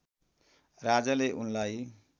राजाले उनलाई